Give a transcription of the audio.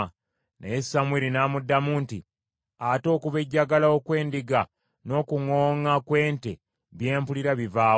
Naye Samwiri n’amuddamu nti, “Ate okubejjagala okw’endiga n’okuŋooŋa kw’ente bye mpulira biva wa?”